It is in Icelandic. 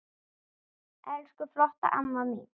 Elsku flotta amma mín.